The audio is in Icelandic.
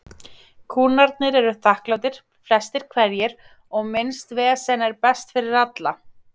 Kúnnarnir eru þakklátir, flestir hverjir, og minnst vesen er best fyrir alla.